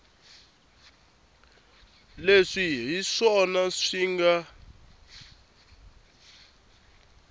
leswi hi swona swi nga